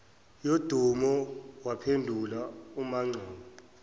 yodumo waphendula umangcobo